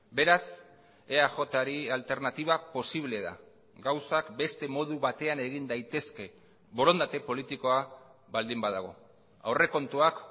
beraz eajri alternatiba posible da gauzak beste modu batean egin daitezke borondate politikoa baldin badago aurrekontuak